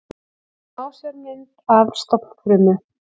Smásjármynd af stofnfrumu.